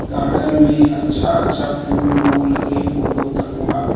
Garden में अच्छा-अच्छा फूल उल के फोटो तको हवे।